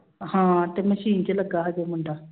ਹਾਂ ਤੇ ਮਸ਼ੀਨ ਚ ਲੱਗਾ ਹਜੇ ਮੁੰਡਾ।